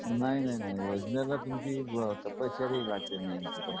नाही नाही नाही जरा तुमची तपश्चरी लागते मेन